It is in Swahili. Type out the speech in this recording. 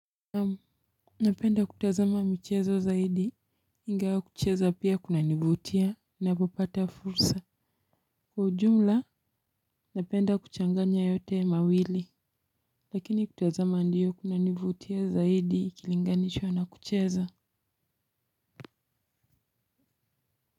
Naam, napenda kutazama michezo zaidi, ingawa kucheza pia kunanivutia na kupata fursa. Kwa ujumla, napenda kuchanganya yote mawili, lakini kutazama ndiyo kunanivutia zaidi ikilinganishwa na kucheza.